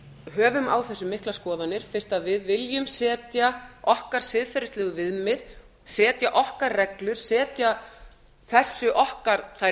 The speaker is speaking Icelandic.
höfum á þessu miklar skoðanir hvort við viljum setja okkar siðferðislegu viðmið setja okkar reglur setja þessi okkar þær